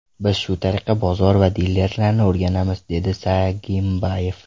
Biz shu tariqa bozor va dilerlarni o‘rganamiz”, dedi Sagimbayev.